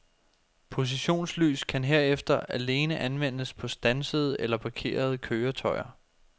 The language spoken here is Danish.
Positionslys kan herefter alene anvendes på standsede eller parkerede køretøjer.